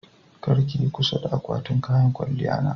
kar ki Yi kusa a akwatin kayan kwalya na.